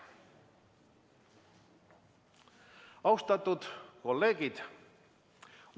Austatud kolleegid!